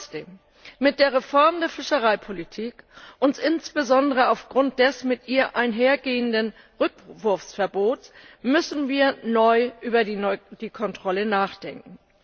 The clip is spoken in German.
Trotzdem Mit der Reform der Fischereipolitik und insbesondere aufgrund des mit ihr einhergehenden Rückwurfverbots müssen wir neu über die Kontrolle nachdenken.